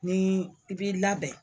Ni i b'i labɛn